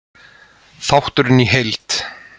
Þátturinn í heild: